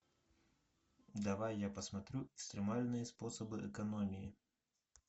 давай я посмотрю экстремальные способы экономии